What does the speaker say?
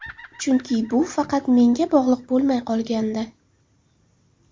Chunki bu faqat menga bog‘liq bo‘lmay qolgandi.